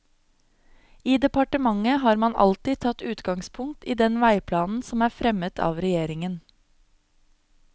I departementet har man alltid tatt utgangspunkt i den veiplanen som er fremmet av regjeringen.